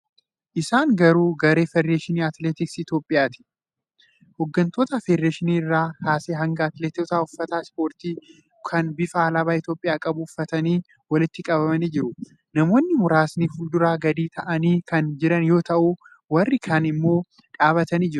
Isaan garuu garee federeeshinii atileetiksii Itiyoophiyaati. Hooggantoota federeeshinichaa irraa kaasee hanga atileetotaatti uffata ispoortii kan bifa alaabaa Itiyoophiyaa qabu ufatanii walitti qabamanii jiru. Namoonni muraasni fuulduraan gadi taa'anii kan jiran yoo ta'u, warri kaan immoo dhaabbatanii jiru.